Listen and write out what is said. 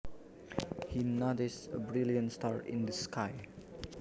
He noticed a brilliant star in the sky